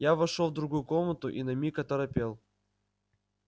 я вошёл в другую комнату и на миг оторопел